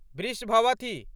वृषभवथि